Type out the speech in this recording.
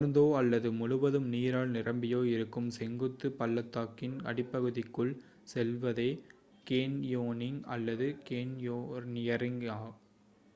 உலர்ந்தோ அல்லது முழுவதும் நீரால் நிரம்பியோ இருக்கும் செங்குத்து பள்ளத்தாக்கின் அடிப்பகுதிக்குள் செல்வதே கேன்யோனிங் அல்லது கேன்யோநியரிங்